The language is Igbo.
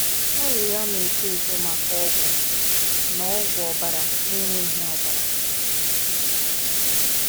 "Arịrịọ Na-eto Eto Maka Ọgwụ Na Na Ọgwụ Ọbara Na-enweghị Ọbara"